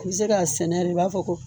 I bɛ se ka sɛnɛ de i b'a fɔ ko